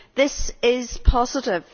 This is positive.